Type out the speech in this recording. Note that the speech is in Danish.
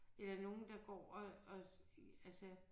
Eller nogen der går og og altså